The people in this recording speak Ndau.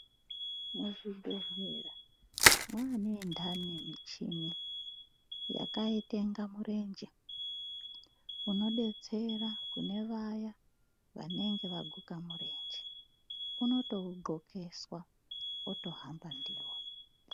Muzvibhedhlera mwane indani michini yakaite inga murenje unodetsera kune vaya vanenge vaguka murenje unotoundxokeswa otohamba ndiwo.